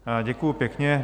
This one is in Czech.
Děkuju pěkně.